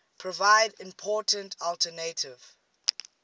provide important alternative